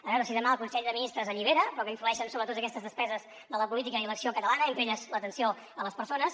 a veure si demà el consell de ministres allibera però que influeixen sobre totes aquestes despeses de la política i l’acció catalana entre elles l’atenció a les persones